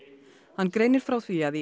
hann greinir frá því að í